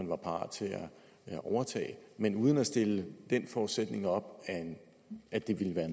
var parat til at overtage men uden at stille den forudsætning op at det ville være